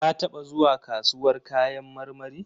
Ka taɓa zuwa kasuwar kayan marmari?